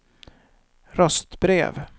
röstbrev